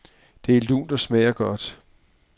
Det er lunt og smager godt.